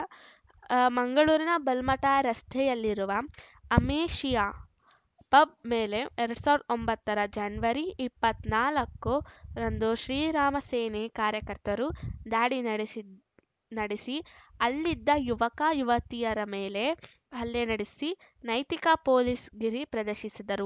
ಮಂಗಳೂರಿನ ಬಲ್ಮಠ ರಸ್ತೆಯಲ್ಲಿರುವ Amnesia pub ಮೇಲೆ ಎರಡ್ ಸಾವಿರದ ಒಂಬತ್ತರ ಜನವರಿ ಇಪ್ಪತ್ತ್ ನಾಲ್ಕರಂದು ಶ್ರೀರಾಮ ಸೇನೆಯ ಕಾರ್ಯಕರ್ತರು ದಾಡಿ ನಡೆಸಿ ಅಲ್ಲಿದ್ದ ಯುವಕ ಯುವತಿಯರ ಮೇಲೆ ಹಲ್ಲೆ ನಡೆಸಿ ನೈತಿಕ ಪೊಲೀಸ್‌ಗಿರಿ ಪ್ರದರ್ಶಿಸಿದ್ದರು